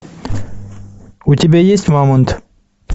у тебя есть мамонт